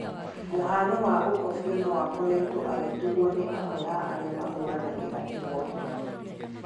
mũhano wa gũkobĩo noakoretwo agĩtũgwo nĩ amwe a arĩa mahũranagĩra ĩhoto